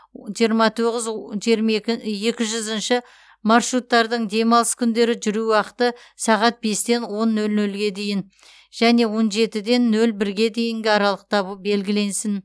жиырма тоғыз жиырма екі екі жүзінші маршруттардың демалыс күндері жүру уақыты сағат бестен он нөл нөлге дейін және он жетіден нөл бірге дейінгі аралықта белгіленсін